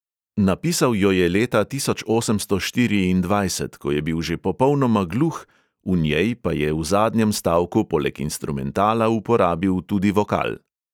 Napisal jo je leta tisoč osemsto štiriindvajset, ko je bil že popolnoma gluh, v njej pa je v zadnjem stavku poleg instrumentala uporabil tudi vokal.